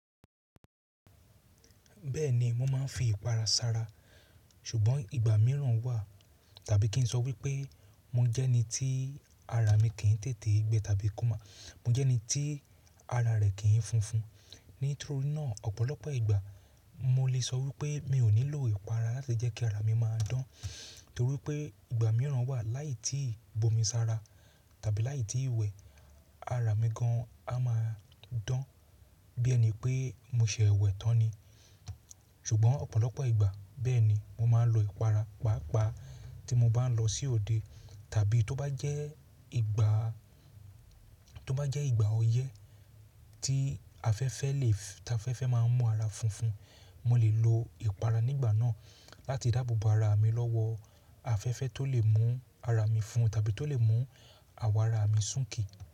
Bẹ́ẹ̀ni, mo máa ń fi ìpara sara, ṣùgbọ́n ìgbà mìíràn wà tàbí kí n sọ wípé mo jẹ́ ẹni tí ara mi kì í tètè gbẹ tàbí kó máa, mo jẹ́ ẹni tí ara rẹ̀ kì í funfun. Nítorí náà ọ̀pọ̀lọpọ̀ ìgbà mo lè sọ wípé mi ò nílò ìpara láti jẹ́ kí ara mi máa dán torí pé ìgbà mìíràn wà láì tíì bomi sára tàbí láì tí ì wẹ̀ ara mi gan an máa dán bí ẹni pé mo ṣẹ̀ẹwẹ̀ tán ni. Ṣùgbọ́n ọ̀pọ̀lọpọ̀ ìgbà, bẹ́ẹ̀ni mo máa ń lo ìpara, pàápàá tí mo bá ń lọ sí òde tàbí tó bá jẹ́ ìgbà, tó bá jẹ́ ìgbà ọyẹ́ tí afẹ́fẹ́ lè ta afẹ́fẹ́ máa ń mú ara funfun, mo lè lo ìpara nígbà náà láti dáàbò bo ara mi lọ́wọ́ afẹ́fẹ́ tó lè mú ara mi fun tàbí tó lè mú àwọ̀ ara mi súnkì.